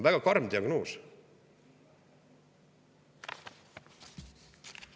Väga karm diagnoos!